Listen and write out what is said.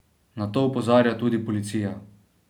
Na to opozarja tudi policija.